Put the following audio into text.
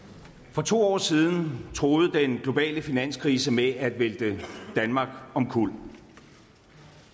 for to år siden truede den globale finanskrise med at vælte danmark omkuld